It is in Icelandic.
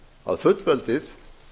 að fullveldið